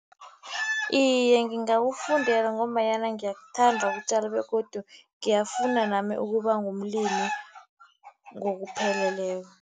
Iye, ngingakufundela ngombanyana ngiyakuthanda ukutjala begodu ngiyafuna nami ukuba ngumlimi ngokupheleleko.